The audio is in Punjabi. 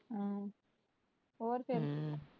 ਹੋਰ ਫ਼ੇਰ।